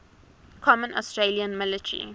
common australian military